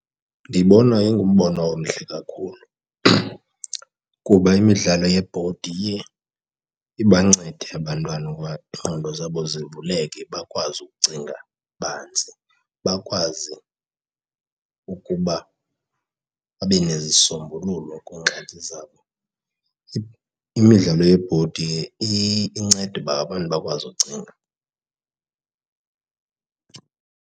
Ndibona ingumbono omhle kakhulu kuba imidlalo yebhodi iye ibancede abantwana iingqondo zabo zivuleke bakwazi ukucinga banzi bakwazi ukuba babe nezisombululo kwiingxaki zabo. Imidlalo yebhodi inceda ukuba abantu bakwazi ukucinga